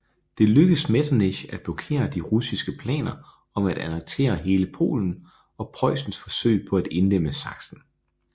Det lykkedes Metternich at blokere de russiske planer om at annektere hele Polen og Preussens forsøg på at indlemme Sachsen